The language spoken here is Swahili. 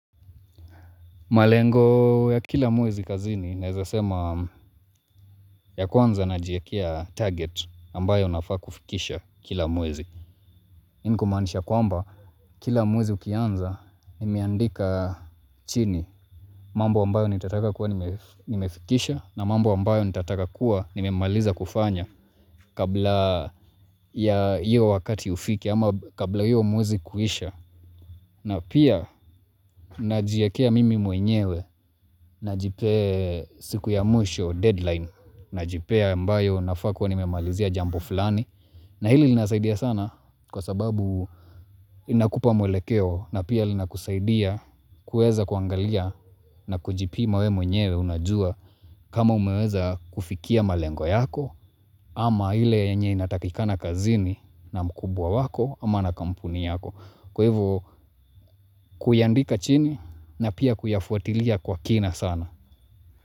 Malengo ya kila mwezi kazini, nawezasema ya kwanza ninajiwekea target ambayo nafaa kufikisha kila mwezi. Hii ni kumaanisha kwamba, kila mwezi ukianza, nimiandika chini, mambo ambayo nitataka kuwa nimefikisha, na mambo ambayo nitataka kuwa nimemaliza kufanya kabla ya iyo wakati ufike, ama kabla iyo mwezi kuisha. Na pia najiekea mimi mwenyewe na jipea siku ya mwisho deadline na jipea ambayo nafaa kuwa nimemalizia jambo fulani, na hili linasaidia sana kwa sababu, inakupa mwelekeo na pia lina kusaidia kuweza kuangalia na kujipima wewe mwenyewe unajua kama umeweza kufikia malengo yako ama ile enye inatakikana kazini na mkubwa wako ama na kampuni yako. Kwa hivyo kuyaandika chini na pia kuyafuatilia kwa kina sana.